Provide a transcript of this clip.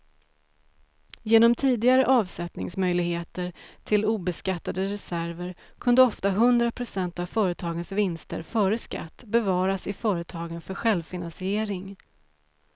Genom tidigare avsättningsmöjligheter till obeskattade reserver kunde ofta hundra procent av företagens vinster före skatt bevaras i företagen för självfinansiering.